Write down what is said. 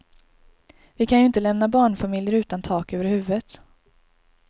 Vi kan ju inte lämna barnfamiljer utan tak över huvudet.